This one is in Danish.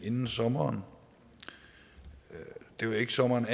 inden sommeren og det var ikke sommeren